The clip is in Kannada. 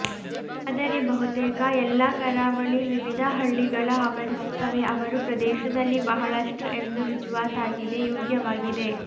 ಆದರೆ ಬಹುತೇಕ ಎಲ್ಲಾ ಕರಾವಳಿ ವಿವಿಧ ಹಳ್ಳಿಗಳ ಆವರಿಸುತ್ತವೆ ಅವರು ಪ್ರದೇಶದಲ್ಲಿ ಬಹಳಷ್ಟು ಎಂದು ರುಜುವಾತಾಗಿದೆ ಯೋಗ್ಯವಾಗಿದೆ